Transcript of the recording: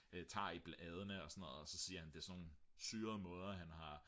tager i bladene og sådan noget så siger han det er sådan nogle syrede måder han har